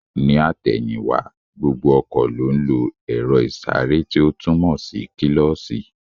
Ní àtẹ̀yìn wá, gbogbo ọkọ̀ ló ń lo èro ìsáré tí ó túmò kílósī